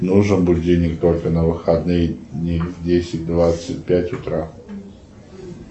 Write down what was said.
нужен будильник только на выходные дни в десять двадцать пять утра